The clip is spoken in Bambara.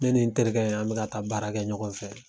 Ne ni n terikɛ in an mi ka taa baara kɛ ɲɔgɔn fɛ